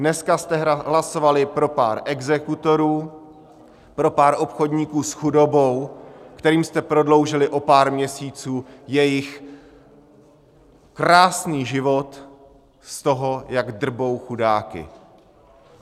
Dneska jste hlasovali pro pár exekutorů, pro pár obchodníků s chudobou, kterým jste prodloužili o pár měsíců jejich krásný život z toho, jak drbou chudáky.